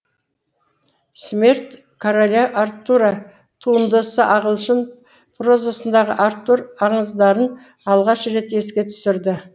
смерть короля артура туындысы ағылшын прозасындағы артур аңыздарын алғаш рет еске түсірді